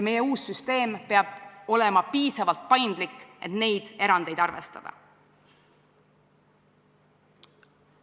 Meie uus süsteem peab olema piisavalt paindlik, et neid erandeid arvestada.